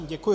Děkuji.